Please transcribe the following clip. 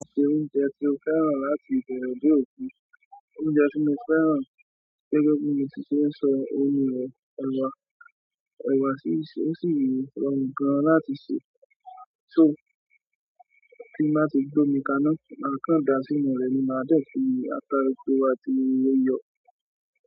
Ṣé oúnjẹ tí ó fẹ́ràn láti ibẹ̀re de òpin? Oúnjẹ tí mo fẹ́ràn gẹ́gẹ́ bí mo ti ṣe sọ ọun ni, ẹ̀wà. Ẹ̀wà sì ṣe ó sì le rọrùn gan láti sè, só kí n má ṣe gbómi kaná, màkáńdà sínú rẹ̀ ni màá dẹ̀ fi àta, epo tó atí iyọ.